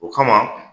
O kama